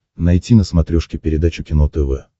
найти на смотрешке передачу кино тв